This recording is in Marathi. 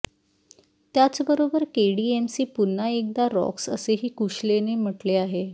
त्याचबरोबर केडीएमसी पुन्हा एकदा रॉक्स असेही कुशलेने म्हटले आहे